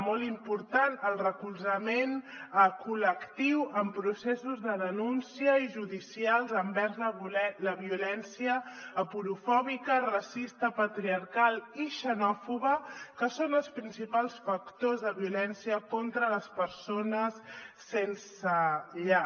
molt important el recolzament col·lectiu en processos de denúncia i judicials envers la violència aporofòbica racista patriarcal i xenòfoba que és el principal factor de violència contra les persones sense llar